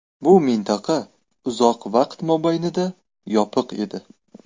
Bu mintaqa uzoq vaqt mobaynida yopiq edi.